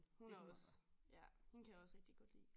Hun er også hende kan jeg også rigitg godt lide